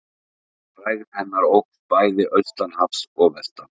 Frægð hennar óx bæði austan hafs og vestan.